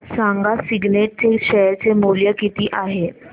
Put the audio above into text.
सांगा सिग्नेट चे शेअर चे मूल्य किती आहे